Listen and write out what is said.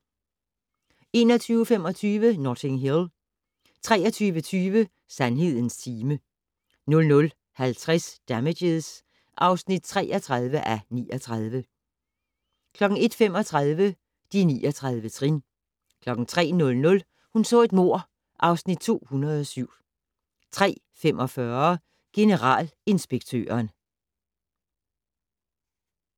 21:25: Notting Hill 23:20: Sandhedens time 00:50: Damages (33:39) 01:35: De 39 trin 03:00: Hun så et mord (Afs. 207) 03:45: Generalinspektøren